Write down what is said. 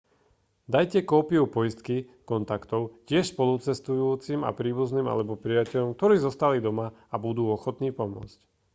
dajte kópiu poistky/kontaktov tiež spolucestujúcim a príbuzným alebo priateľom ktorí zostali doma a budú ochotní pomôcť